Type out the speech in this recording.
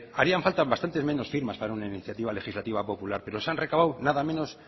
harían falta bastantes menos firmas para una iniciativa legislativa popular pero se han recabado nada menos